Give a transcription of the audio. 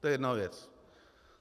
To je jedna věc.